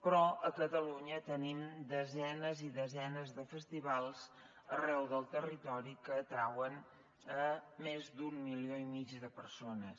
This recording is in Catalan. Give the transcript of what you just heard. però a catalunya tenim desenes i desenes de festivals arreu del territori que atrauen més d’un milió i mig de persones